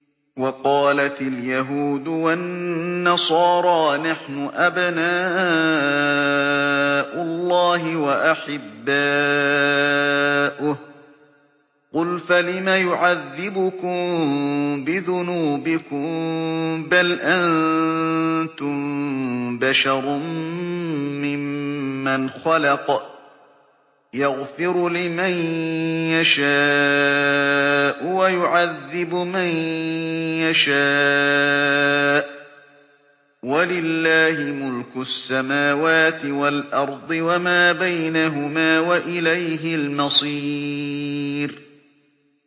وَقَالَتِ الْيَهُودُ وَالنَّصَارَىٰ نَحْنُ أَبْنَاءُ اللَّهِ وَأَحِبَّاؤُهُ ۚ قُلْ فَلِمَ يُعَذِّبُكُم بِذُنُوبِكُم ۖ بَلْ أَنتُم بَشَرٌ مِّمَّنْ خَلَقَ ۚ يَغْفِرُ لِمَن يَشَاءُ وَيُعَذِّبُ مَن يَشَاءُ ۚ وَلِلَّهِ مُلْكُ السَّمَاوَاتِ وَالْأَرْضِ وَمَا بَيْنَهُمَا ۖ وَإِلَيْهِ الْمَصِيرُ